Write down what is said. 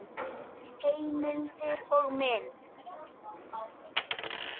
Rúnel, hvernig er veðurspáin?